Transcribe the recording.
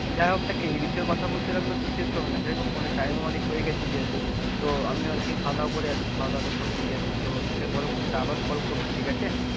যাইহোক দেখ এ বিষয়ে কথা বলতে থাকলে তো শেষ হবে না, যাই হোক অনেক time হয়ে গেছে যেহেতু তো আমি আর কি খাওয়া দাওয়া করে আসি, খাওয়া দাওয়া টা করিনি যেসেতু, তো তোকে পরবর্তীতে আরও call করব ঠিক আছে,